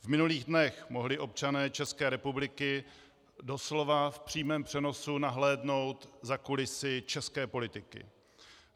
V minulých dnech mohli občané České republiky doslova v přímém přenosu nahlédnout za kulisy české politiky.